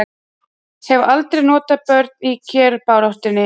Hafa aldrei notað börn í kjarabaráttu